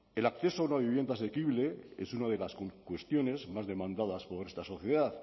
el acceso a una vivienda asequible es una de las cuestiones más demandadas por nuestra sociedad